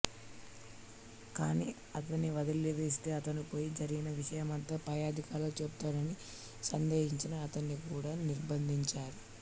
కానీ అతనినివదిలివేస్తే అతను పోయి జరిగిన విషయమంతా పై అధికారులకు చెబుతాడని సందేహించి అతనిని కూడా నిర్బంధించారు